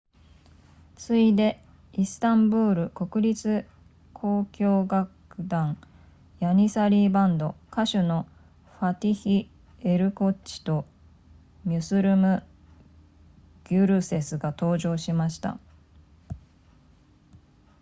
次いでイスタンブール国立交響楽団ヤニサリーバンド歌手のファティヒエルコッチとミュスルムギュルセスが登場しました